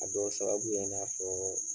A dɔ sababu ye i n'a fɔ